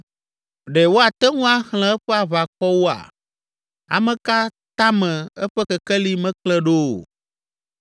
Ɖe woate ŋu axlẽ eƒe aʋakɔwoa? Ame ka tame eƒe kekeli meklẽ ɖo o?